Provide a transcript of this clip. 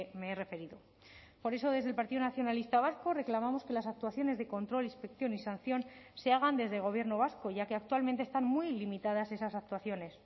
me he referido por eso desde el partido nacionalista vasco reclamamos que las actuaciones de control inspección y sanción se hagan desde gobierno vasco ya que actualmente están muy limitadas esas actuaciones